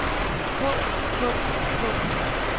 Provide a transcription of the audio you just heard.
kog kog kog